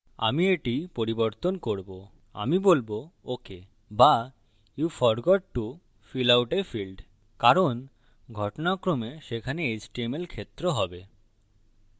আমি এটি পরিবর্তন করবো আমি বলবো ok be you forgot to fill out a field আপনি field ভরতে ভুলে গেছেন কারণ ঘটনাক্রমে সেখানে html field হবে